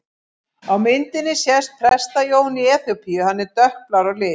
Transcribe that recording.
Á myndinni sést Presta-Jón í Eþíópíu, hann er dökkblár á lit.